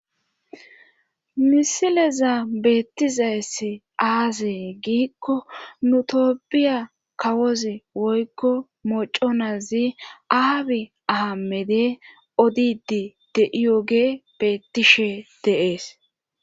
Misileza beettizayssi aazee giikko nu tophphoiya kawozi woykko moconazi aabi ahamede odidi de'iyoge beettishe dees.